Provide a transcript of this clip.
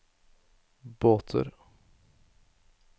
båter